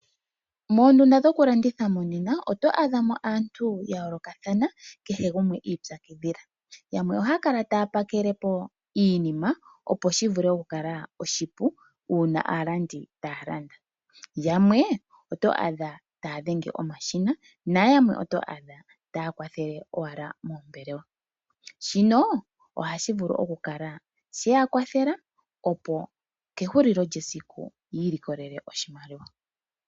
Moondunda dhokulanditha monena oto adha mo aantu yayoolokathana kehe gumwe iipyakidhila, yamwe ohaakala taapakele po iinima opo shivule okukala oshipu uuna aalandi taya landa, yamwe oto adha taya dhenge omashina nayamwe oto adha taya kwathele owala moombelewa, shino ohashi vulu okukala sheya kwathela opo kehulilo lyesiku yiilikolele oshimaliwa.